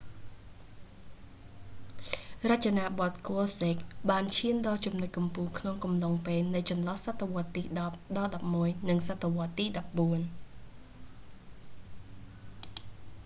រចនាបថ gothic ហ្គោធិក​បានឈានដល់ចំណុចកំពូលក្នុងកំឡុងពេលនៃ​ចន្លោះសតវត្សទី 10 ដល់​11 និង​សតវត្ស​ទី 14។